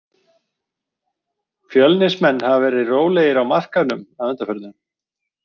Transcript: Fjölnismenn hafa verið rólegir á markaðnum að undanförnu.